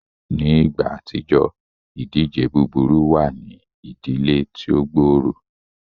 Ni igba atijọ, idije buburu wa ni idile ti o gbooro.